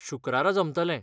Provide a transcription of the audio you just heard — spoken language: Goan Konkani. शुक्रारा जमतलें.